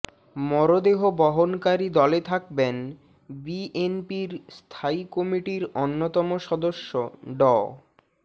মরদেহ বহনকারী দলে থাকবেন বিএনপির স্থায়ী কমিটির অন্যতম সদস্য ড